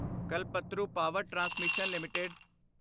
Kalpataru power transmission LTD